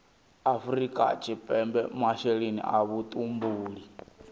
afrika tshipembe masheleni a vhutumbuli